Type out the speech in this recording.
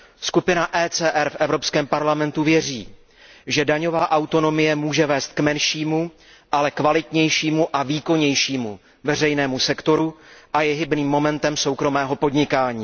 Skupina ECR v Evropském parlamentu věří, že daňová autonomie může vést k menšímu, ale kvalitnějšímu a výkonnějšímu veřejnému sektoru a je hybným momentem soukromého podnikání.